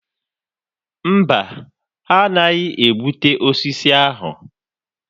Mba, ha anaghị egbutu osisi ahụ.